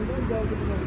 Gəldi düşdü məscidə.